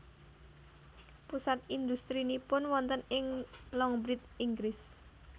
Pusat industrinipun wonten ing Longbridge Inggris